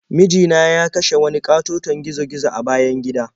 Miji na ya kashe wani ƙatoton gizo-gizo a bayan gida.